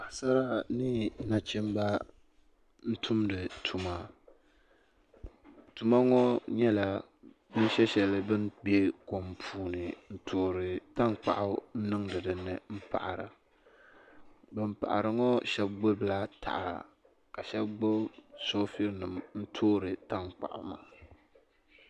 Paɣasara ni nachimba n tumdi tuma tuma ŋɔ nyɛla bin shesheli din bɛ kom puuni n toori tankpaɣu n niŋdi di dinni mpaɣara ban paɣari ŋɔ sheba gbibi la taha ka sheba gbibi soobuli n toori tankpaɣu maa.